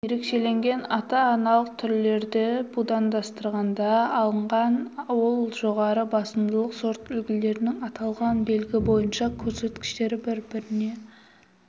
ерекшеленген ата-аналық түрлерді будандастырғанда алынған ал жоғары басымдылық сорт үлгілердің аталған белгі бойынша көрсеткіштері бір-біріне